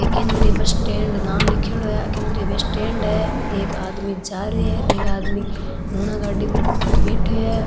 एक केन्द्रीय bus stand नाम लीखेड़ो है केन्द्रीय बस स्टेण्ड है एक आदमी जा रहे है एक आदमी नूना गाड़ी पर बैठयो है।